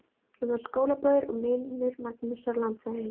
Hann var skólabróðir og vinur Magnúsar landshöfðingja.